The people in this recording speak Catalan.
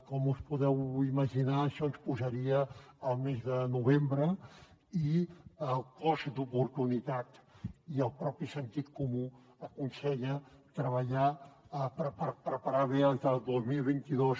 com us podeu imaginar això ens posaria al mes de novembre i el cost d’oportunitat i el mateix sentit comú aconsella treballar per preparar bé els del dos mil vint dos